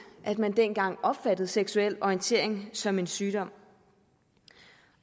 at man dengang opfattede seksuel orientering som en sygdom